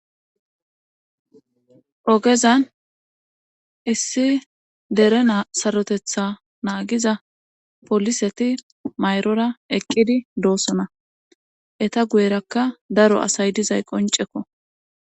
Ogezan issi dere sarotetha naagiza poliseti mayrora eqqidi doosona eta guyerakka daro asay dizay qoncekko.